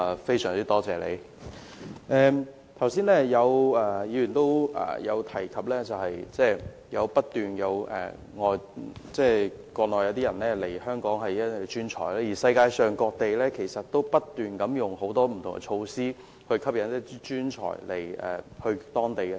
正如剛才有議員提到，不斷有國內專才透過輸入計劃來港，而世界各地其實亦正採取各種措施，吸引專才移居當地。